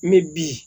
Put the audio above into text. Mɛ bi